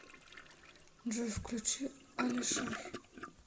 джой включи алишер